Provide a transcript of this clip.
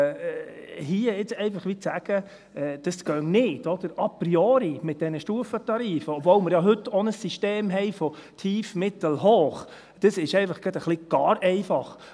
Hier jetzt einfach gewissermassen zu sagen, das gehe a priori nicht mit diesen Stufentarifen, obwohl wir ja heute auch ein System haben von tief, mittel, hoch, das ist einfach gerade ein wenig gar einfach.